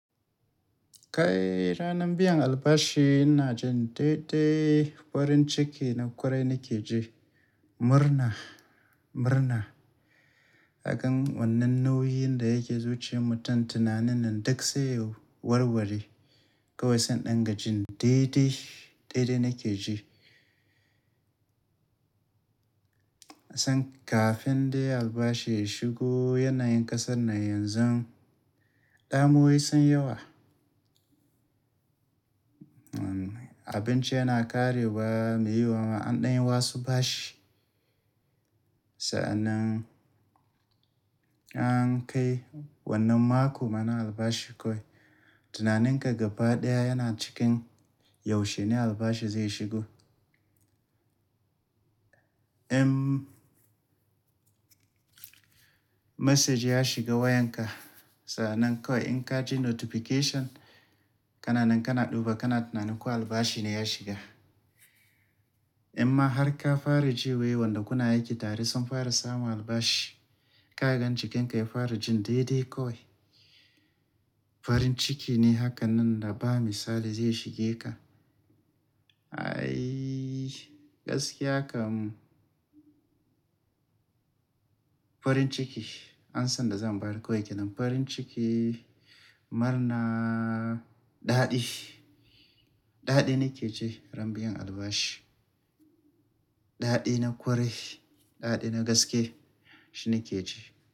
Kai ranar biyan albashi ina jin daidai farin ciki na kwarai nake ji. Murna, murna. Haka wannan nauyin da yake zuci mutum tunanin nan duk sai yiwu warwari. Kowai sai in dangaji daidai, daidai nake ji. San kafin dai albashi ya shigo yanayin ƙasar nan yanzu, damuwai sun yawa. Abinci yana ƙarewa, muyi wa waɗannan ɗan wasu bashi. Sa'annan an kai wannan mako mana albashi kawai. Tunanin ka gaba ɗaya yana cikin yaushe ne albashi zai shigo. Em, message ya shiga wayanka. Sa'annan kawai in ka ji notification, kana nan kana duba kana tunanin kuwa albashi ne ya shiga. Amma har ka fara ji wai wadanda kuna aiki tare sun fara samu albashi, ka ga jikinka ya fara jin daidai kawai. Farin ciki ne hakan nan da ba misali zai shige ka. Aiiiii gaskiya kam. Farin ciki, an san da zan bayar koyi kenan farin ciki. Murna, daɗi, daɗi nake ji ran biyan albashi. Daɗi na kwarai, daɗi na gaske shine ke ji.